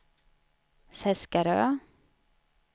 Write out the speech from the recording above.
Seskarö